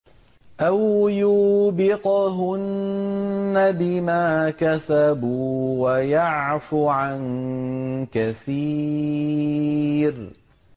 أَوْ يُوبِقْهُنَّ بِمَا كَسَبُوا وَيَعْفُ عَن كَثِيرٍ